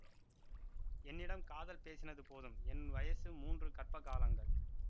என்னிடம் காதல் பேசினது போதும் என் வயசு மூன்று கர்ப்ப காலங்கள்